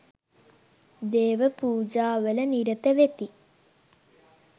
දේව පූජාවල නිරතවෙති.